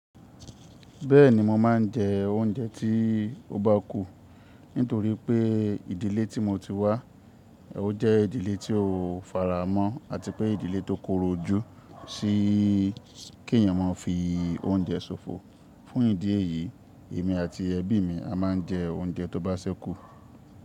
Bẹ́ẹ̀ni mo máa ń jẹ oúnjẹ tí ó bá kù. Nítorí pé ìdílé tí mo ti wá, ó jẹ́ ìdílé tí ó faramọ́ àti pé ìdílé tó korò ojù sí kí ẹ̀yàn máa fi oúnjẹ ṣòfò. Fún ìdí èyí, èmi àti ẹbí mi a máa ń jẹ oúnjẹ tó bá ṣẹ́kù.